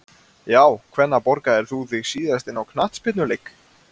Já Hvenær borgaðir þú þig síðast inn á knattspyrnuleik?